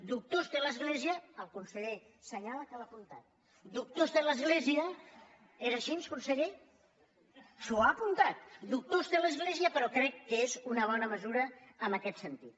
doctors té l’església el conseller assenyala que ho ha apuntat és així conseller apuntat doctors té l’església però crec que és una bona mesura en aquest sentit